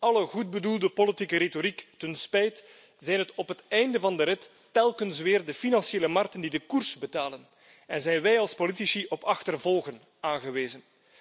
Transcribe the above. Alle goed bedoelde politieke retoriek ten spijt zijn het op het einde van de rit telkens weer de financiële markten die de koers bepalen en zijn wij als politici op achtervolgen aangewezen.